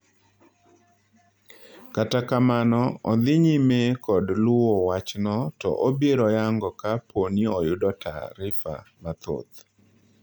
Kata kamano odhii nyime kod luwo wachno to obiro yango ka pooni oyudo taafifa mathoth.